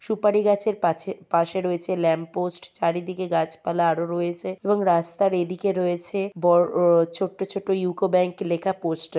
সুপারি গাছের পাছে পাশে রয়েছে ল্যাম্পপোস্ট । চারিদিকে গাছপালা আরো রয়েছে এবং রাস্তার এ দিকে রয়েছে ব-ও ছোটো ছোটো ইউকো ব্যাঙ্ক লেখা পোস্টার ।